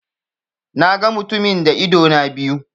Na ga mutumin da idona biyu.